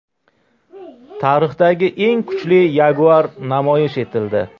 Tarixdagi eng kuchli Jaguar namoyish etildi .